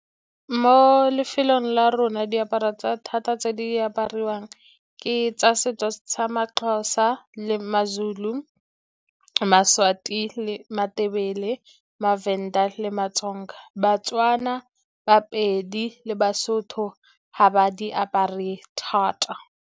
Mo lefelong la rona diaparo thata tse di apariwang ke tsa setso sa maXhosa le maZulu, maSwati le maTebele, maVenda le maTsonga. BaTswana, baPedi le baSotho ga ba di apare thata.